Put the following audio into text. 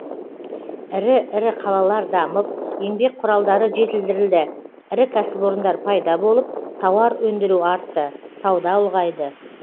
ірі ірі қалалар дамып еңбек құралдары жетілдірілді ірі кәсіпорындар пайда болып тауар өндіру артты сауда ұлғайды